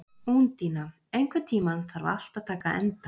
Úndína, einhvern tímann þarf allt að taka enda.